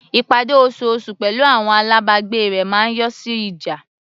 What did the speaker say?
Ìpàdé osoosù pẹ̀lú àwọn alábàgbé rẹ̀ máa ń yọrí sí ìjà.